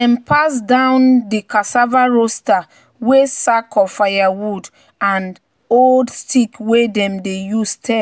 "dem pass down di cassava roaster with sack of firewood and old stick wey dem dey use stir."